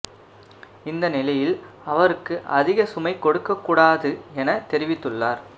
இந்த நிலையில் அவருக்கு அதிக சுமை கொடுக்கக் கூடாது என தெரிவித்துள்ளார்